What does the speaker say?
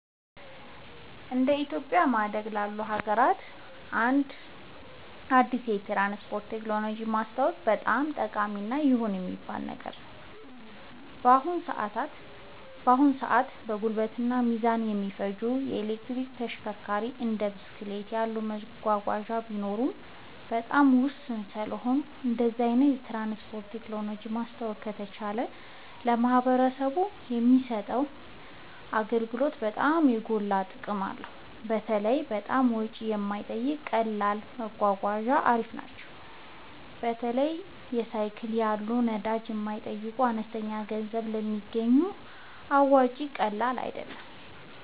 እንደ ኢትዮጵያ በማደግ ላይ ላሉ ሀገራት አንድ አዲስ የትራንስፖርት ቴክኖሎጂ ማስተዋወቅ በጣም ጠቃሚ እና ይሁን የሚባል ነገር ነው። በአሁን ሰአት ጉልበትን እና ጊዜን የማይፈጁ የኤሌክትሪክ ተሽከርካሪዎች እንደ ብስክሌት ያሉ መጓጓዣዎች ቢኖሩም በጣም ውስን ስለሆኑ እንደዚህ አይነት የትራንስፖርት ቴክኖሎጂ ማስተዋወቅ ከተቻለ ለማህበረሰቡ የሚሰጡት አገልግሎት በጣም የጎላ ጥቅም አለው። በተለይ በጣም ወጪ የማይጠይቁ ቀላል መጓጓዣ አሪፍ ናቸው። በተለይ ሳይክል ያሉ ነዳጅ የማይጠይቁ በአነስተኛ ገንዘብ ስለሚገኙ አዋጭነቱ ቀላል አይደለም